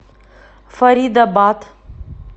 фаридабад